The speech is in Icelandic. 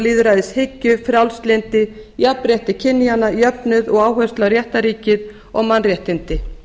og lýðræðishyggju frjálslyndi jafnrétti kynjanna jöfnuð og áherslu á réttarríkið og mannréttindi